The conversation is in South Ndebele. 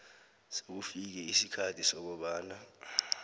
sekufike isikhathi sokobana